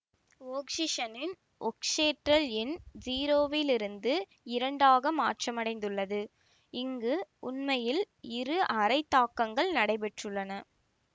ஒக்சிசனின் ஒக்சியேற்றல் எண் ஸிரோவிலிருந்து இரண்டாக மாற்றமடைந்துள்ளது இங்கு உண்மையில் இரு அரைத் தாக்கங்கள் நடைபெற்றுள்ளன